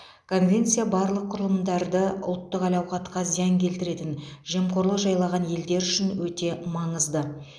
конвенция барлық құрылымдарды ұлттық әл ауқатқа зиян келтіретін жемқорлық жайлаған елдер үшін өте маңызды